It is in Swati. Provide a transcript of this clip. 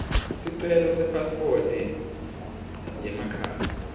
sicelo sepasiphoti yemakhasi